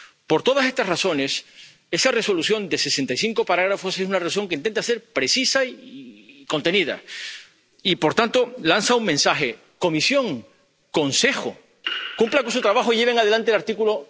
Por todas estas razones, esta Resolución de sesenta y cinco apartados es una Resolución que intenta ser precisa y contenida y, por tanto, lanza un mensaje Comisión, Consejo, cumplan con su trabajo y lleven adelante el artículo